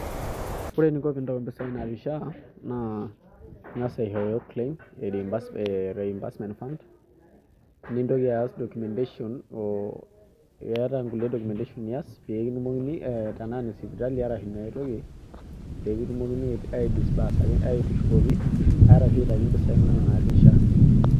Ore eninko piintau impisai natii SHA naa ing'asa aishoyo claim e reimburse ee reimbursement fund, nintoki aas documentation oo iyata inkulie documentation nias pee kitumokini ee tenaa ine sipitali arashu iniai toki pee kitumokini aidisbursaki aaitushukoki arashu aitaki impisai inonok natii SHA.